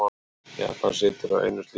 Japan situr á einum slíkum.